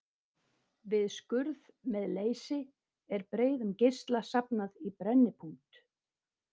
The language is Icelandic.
Við skurð með leysi er breiðum geisla safnað í brennipunkt.